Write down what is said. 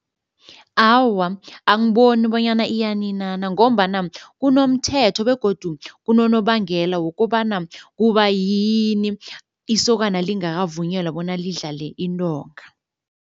Awa, angiboni bonyana iyaninana ngombana kunomthetho begodu kunonobangela wokobana kubayini isokana lingakavunyelwa bona lidlale intonga.